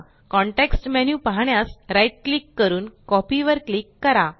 context menu पाहण्यास right click करून copy वर क्लिक करा